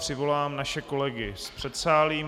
Přivolám naše kolegy z předsálí.